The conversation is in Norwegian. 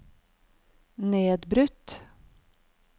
nedbrutt